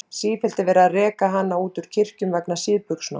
Sífellt er verið að reka hana út úr kirkjum vegna síðbuxnanna.